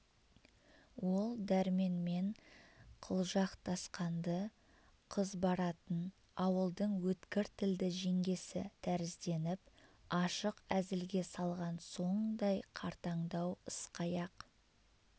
ол дәрменмен қылжақтасқан-ды қыз баратын ауылдың өткір тілді жеңгесі тәрізденіп ашық әзілге салған соңдай қартандау ысқаяқ